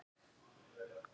Þín Hanna Fríða og Anders.